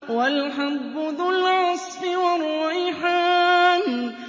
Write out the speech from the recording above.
وَالْحَبُّ ذُو الْعَصْفِ وَالرَّيْحَانُ